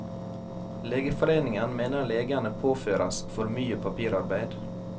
Legeforeningen mener legene påføres for mye papirarbeid.